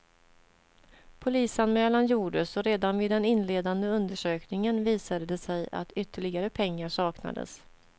Polisanmälan gjordes och redan vid den inledande undersökningen visade det sig att ytterligare pengar saknades.